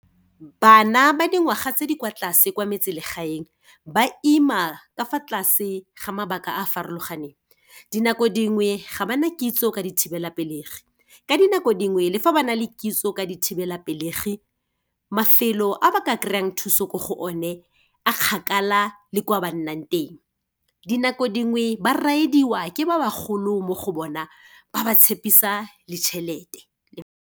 Bana ba dingwaga tse di kwa tlase kwa metselegaeng, ba ima ka fa tlase ga mabaka a a farologaneng. Dinako dingwe ga bana kitso ka dithibelapelegi. Ka dinako dingwe le fa ba na le kitso ka dithibelapelegi, mafelo a ba ka kry-ang thuso ko go o ne, a kgakala le kwa ba nnang teng. Dinako dingwe, ba ride-iwa ke ba ba golo mo go bona ba ba tshepisa le tšhelete.